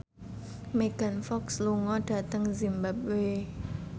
Megan Fox lunga dhateng zimbabwe